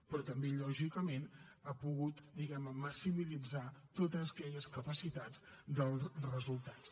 però també lògicament ha pogut diguem ne maximitzar totes aquelles capacitats dels resultats